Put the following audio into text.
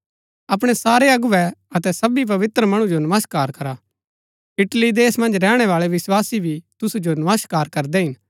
अपणै सारै अगुवै अतै सबी पवित्र मणु जो नमस्कार करा इटली देश मन्ज रैहणै बाळै विस्वासी भी तुसु जो नमस्कार करदै हिन